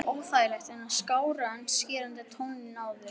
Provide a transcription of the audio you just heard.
Óþægilegt en skárra en skerandi tónninn áður.